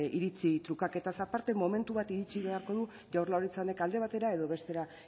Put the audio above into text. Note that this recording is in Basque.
iritzi trukaketaz aparte momentu bat iritsi beharko du jaurlaritza honek alde batera edo bestera